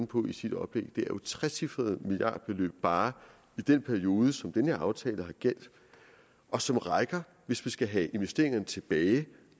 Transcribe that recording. på i sit oplæg trecifrede milliardbeløb bare i den periode som den her aftale har gjaldt og som rækker hvis vi skal have investeringerne tilbage